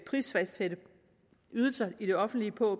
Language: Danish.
prisfastsætte ydelser i det offentlige på